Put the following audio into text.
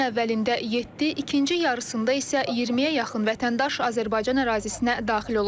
Günün əvvəlində yeddi, ikinci yarısında isə 20-yə yaxın vətəndaş Azərbaycan ərazisinə daxil olub.